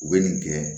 U bɛ nin gɛn